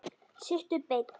Sittu beinn.